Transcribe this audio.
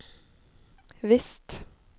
visst